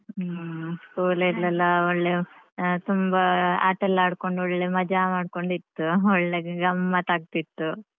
ಹ್ಮ್ಂ school ಅಲ್ಲೆಲ್ಲ ಒಳ್ಳೆ ಆಹ್ ತುಂಬ ಆಟಾಯೆಲ್ಲ ಆಡ್ಕೊಂಡು ಒಳ್ಳೆ ಮಜಾ ಮಾಡ್ಕೊಂಡು ಇತ್ತು ಒಳ್ಳೆ ಗಮ್ಮತ್ ಆಗ್ತಿತ್ತು.